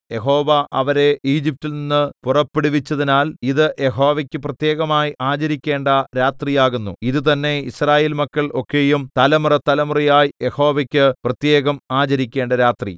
യഹോവ അവരെ ഈജിപ്റ്റിൽ നിന്ന് പുറപ്പെടുവിച്ചതിനാൽ ഇത് യഹോവയ്ക്ക് പ്രത്യേകമായി ആചരിക്കേണ്ട രാത്രി ആകുന്നു ഇതുതന്നെ യിസ്രായേൽ മക്കൾ ഒക്കെയും തലമുറതലമുറയായി യഹോവയ്ക്ക് പ്രത്യേകം ആചരിക്കേണ്ട രാത്രി